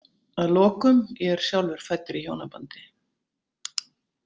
Að lokum: Ég er sjálfur fæddur í hjónabandi.